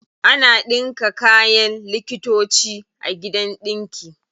Ana ɗinka kayan likitoci a gidan ɗinki.